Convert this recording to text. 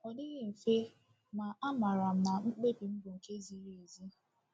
Ọ dịghị mfe, ma amaara m na mkpebi m bụ nke ziri ezi.